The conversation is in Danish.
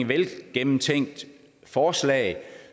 velgennemtænkt forslag